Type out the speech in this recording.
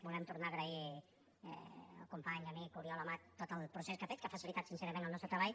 volem tornar a agrair al company amic oriol amat tot el procés que ha fet que ha facilitat sincerament el nostre treball